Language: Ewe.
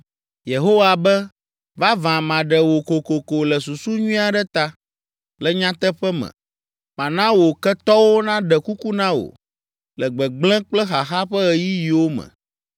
Yehowa be, “Vavã maɖe wò kokoko le susu nyui aɖe ta. Le nyateƒe me, mana wò ketɔwo naɖe kuku na wò le gbegblẽ kple xaxa ƒe ɣeyiɣiwo me.